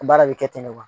Baara bɛ kɛ ten de kuwa